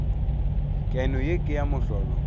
keno ye ke ya mohlolo